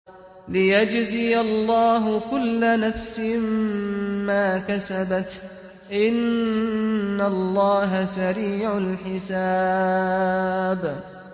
لِيَجْزِيَ اللَّهُ كُلَّ نَفْسٍ مَّا كَسَبَتْ ۚ إِنَّ اللَّهَ سَرِيعُ الْحِسَابِ